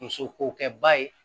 Muso kokɛ ba ye